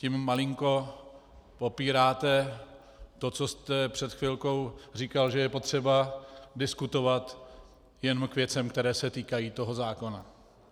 Tím malinko popíráte to, co jste před chvilkou říkal, že je potřeba diskutovat jen k věcem, které se týkají toho zákona.